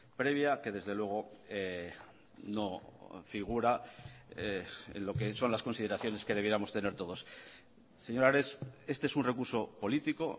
previa que desde luego no figura en lo que son las consideraciones que debiéramos tener todos señor ares este es un recurso político